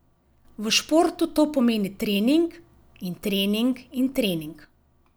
V športu to pomeni trening in trening in trening.